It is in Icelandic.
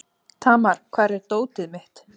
Tamar, hvar er dótið mitt?